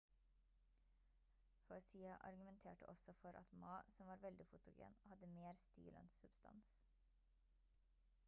hsieh argumenterte også for at ma som var veldig fotogen hadde mer stil enn substans